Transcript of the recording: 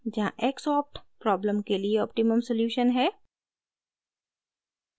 जहाँ xopt problem के लिए ऑप्टिमम सॉल्यूशन है